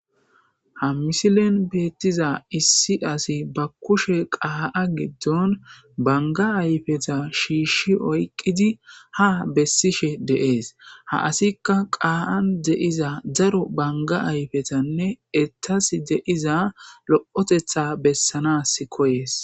ha misilen beettiza issi asi ba kushe qaa7a giddon banga ayfeta shiishshi oyqqidi ha bessishe deees ha asikka qaa7an deiza zaro banga ayfetanne ettas deiza lo7otetha bessanas koyees